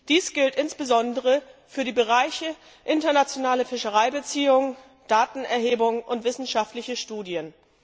Dies gilt insbesondere für die Bereiche internationale Fischereibeziehungen, Datenerhebung und wissenschaftliche Studien.